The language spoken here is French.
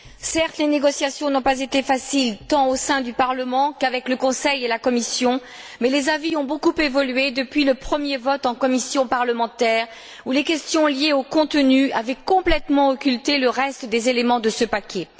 Certes, les négociations n'ont pas été faciles tant au sein du Parlement qu'avec le Conseil et la Commission, mais les avis ont beaucoup évolué depuis le premier vote en commission parlementaire, où les questions liées au contenu avaient complètement occulté le reste des éléments de ce paquet.